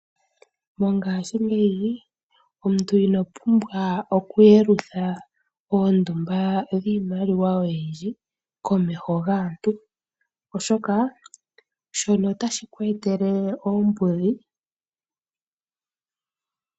Mongashiingeyi omuntu ino pumbwa oku yelutha oondumba dhiimaliwa oyindji komeho gaantu. Oshoka shono ota shi ku etele oombudhi.